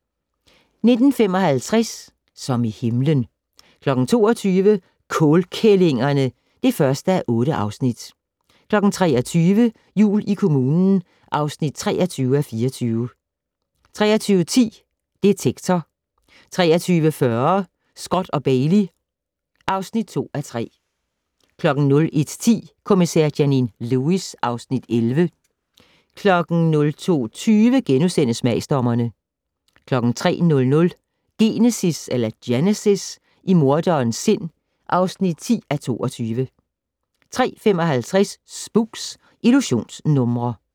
19:55: Som i himlen 22:00: Kålkællingerne (1:8) 23:00: Jul i kommunen (23:24) 23:10: Detektor 23:40: Scott & Bailey (2:3) 01:10: Kommissær Janine Lewis (Afs. 11) 02:20: Smagsdommerne * 03:00: Genesis - i morderens sind (10:22) 03:55: Spooks: Illusionsnumre